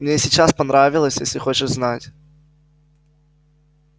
мне и сейчас понравилось если хочешь знать